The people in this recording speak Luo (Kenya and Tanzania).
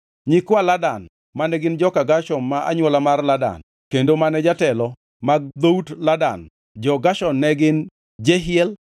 Nyikwa Ladan mane gin joka Gershon ma anywola mar Ladan kendo mane jotelo mag dhout Ladan ja-Gershon ne gin Jehiel,